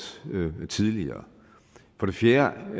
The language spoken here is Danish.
tidligere for det fjerde